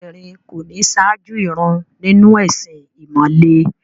Obìnrin kò ní ṣáájú ìrun nínú ẹ̀sìn ìmọ̀le.